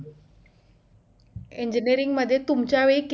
engineering मध्ये तुमच्यावेळी किती